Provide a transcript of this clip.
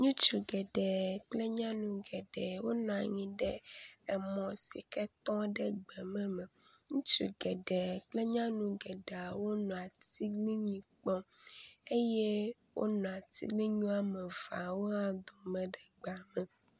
Ŋutsu geɖe kple nyɔnu geɖe wonɔ anyi ɖe emɔ si ke tɔ ɖe gbeme me. Ŋutsu gɖeɖe kple nyɔnu gɖeawo nɔ atiglinyi kpɔn eye wonɔ atiglinyi wɔme eveawo hã dome le gbea me.